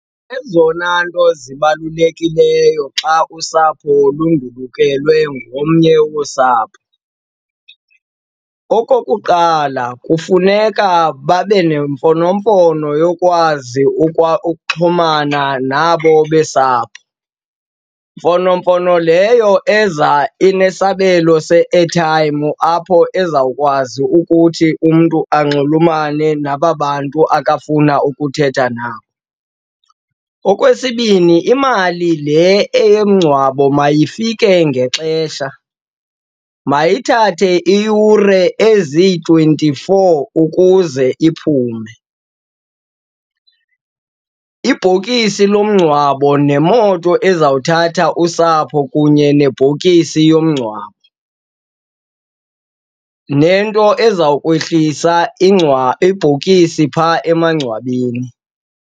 Ezona nto zibalulekileyo xa usapho lundulukelwe ngomnye wosapho, okokuqala kufuneka babe nemfonomfono yokwazi ukuxhumana nabo besapho. Mfonomfono leyo eza inesabelo se-airtime apho ezawukwazi ukuthi umntu anxulumene naba bantu akafuna ukuthetha nabo. Okwesibini, imali le eyomngcwabo mayifike ngexesha, mayithathe iiyure ezi-twenty-four ukuze iphume. Ibhokisi lomngcwabo nemoto ezawuthatha usapho kunye nebhokisi yomngcwabo nento ezawukwehlisa ibhokisi phaa emangcwabeni.